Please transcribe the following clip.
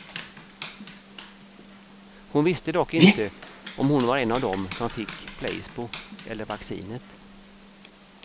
Hon visste dock inte om hon var en av dem som fick placebo eller vaccinet.